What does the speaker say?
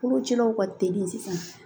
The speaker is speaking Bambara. Kolocilaw ka teli sisan